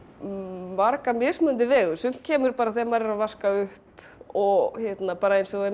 marga mismunandi vegu sumt kemur bara þegar maður er að vaska upp og bara eins og